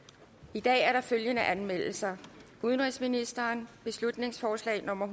i dag er der følgende anmeldelser udenrigsministeren beslutningsforslag nummer